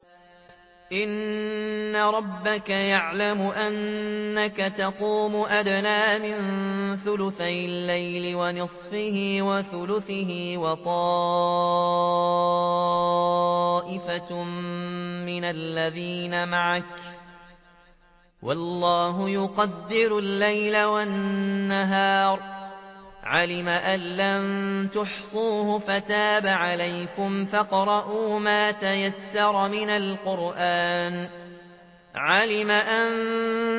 ۞ إِنَّ رَبَّكَ يَعْلَمُ أَنَّكَ تَقُومُ أَدْنَىٰ مِن ثُلُثَيِ اللَّيْلِ وَنِصْفَهُ وَثُلُثَهُ وَطَائِفَةٌ مِّنَ الَّذِينَ مَعَكَ ۚ وَاللَّهُ يُقَدِّرُ اللَّيْلَ وَالنَّهَارَ ۚ عَلِمَ أَن لَّن تُحْصُوهُ فَتَابَ عَلَيْكُمْ ۖ فَاقْرَءُوا مَا تَيَسَّرَ مِنَ الْقُرْآنِ ۚ عَلِمَ أَن